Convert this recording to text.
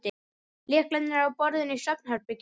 Lyklarnir eru á borðinu í svefnherberginu.